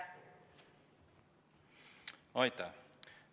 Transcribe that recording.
Aitäh!